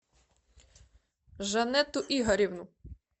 жанетту игоревну